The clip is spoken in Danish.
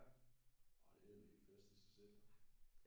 ja nå det er en hel fest i sig selv så